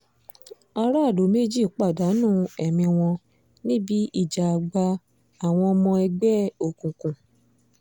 aráàlú méjì pàdánù ẹ̀mí wọn níbi ìjà àgbà àwọn ọmọ ẹgbẹ́ òkùnkùn